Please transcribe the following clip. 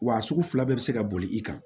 Wa sugu fila bɛɛ bɛ se ka boli i kan